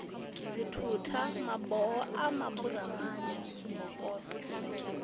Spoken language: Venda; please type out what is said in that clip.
dzithutha maboho a maburamani zwibokoṱo